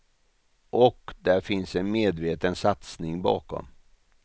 Och det finns en medveten satsning bakom.